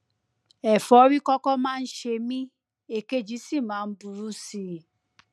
ẹfọrí kọkọ máa ń ṣe mí èkejì sì máa ń burú sí i